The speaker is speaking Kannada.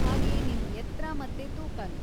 ಹಾಗೇ ನಿಮ್ ಎತ್ರ ಮತ್ತೆ ತೂಕನೂ.